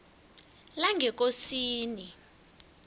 langekosini